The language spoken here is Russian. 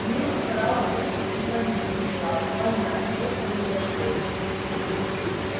снегг старался утихомирить класс понять что произошло